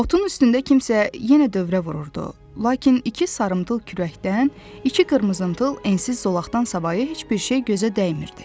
Otun üstündə kimsə yenə dövrə vururdu, lakin iki sarımtıl kürəkdən, iki qızılımtıl ensiz zolaqdan savayı heç bir şey gözə dəymirdi.